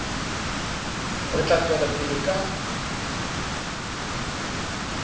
re tla tswela pele ka